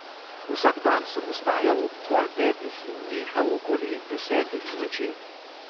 Vsak dan sem vstajal ob pol petih in nehal okoli desetih zvečer.